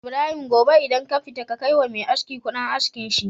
Ibrahim gobe idan kafita ka kai wa Me aski Ƙudin askin shi